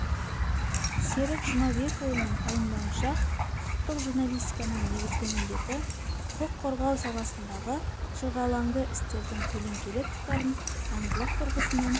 серік жұмабекұлының пайымдауынша құқықтық журналистиканың негізгі міндеті құқық қорғау саласындағы шырғалаңды істердің көлеңкелі тұстарын заңдылық тұрғысынан